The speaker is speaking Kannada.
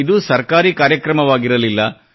ಇದು ಸರ್ಕಾರಿ ಕಾರ್ಯಕ್ರಮವಾಗಿರಲಿಲ್ಲ